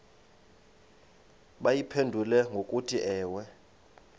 bayiphendule ngokuthi ewe